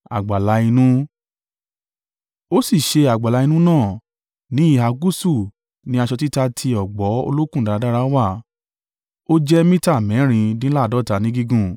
Ó sì ṣe àgbàlá inú náà. Ní ìhà gúúsù ni aṣọ títa ti ọ̀gbọ̀ olókùn dáradára wà, ó jẹ́ mita mẹ́rìndínláàádọ́ta ní gígùn,